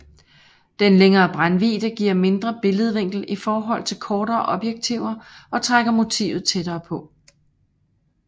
Den længere brændvidde giver en mindre billedvinkel i forhold til kortere objektiver og trækker motivet tættere på